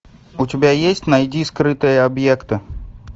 у тебя есть найди скрытые объекты